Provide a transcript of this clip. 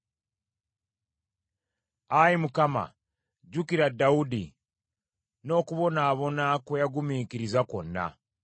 Ayi Mukama jjukira Dawudi n’okubonaabona kwe yagumiikiriza kwonna.